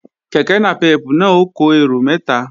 Kèké nàpẹ́pù náà ó kó èrò mẹ́ta